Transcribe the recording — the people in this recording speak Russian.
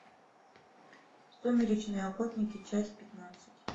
сумеречные охотники часть пятнадцать